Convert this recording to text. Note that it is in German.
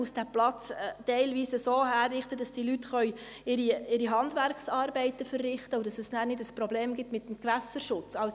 Man muss diesen Platz teilweise so herrichten, dass diese Leute ihre Handwerksarbeiten verrichten können und es dann nicht ein Problem mit dem Gewässerschutz gibt.